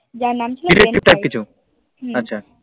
DetectiveType কিছু আচ্ছা